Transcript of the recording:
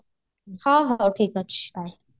ହଁ ହଁ ହଉ ଠିକ ଅଛି ହଉ